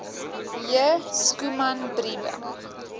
j schoeman briewe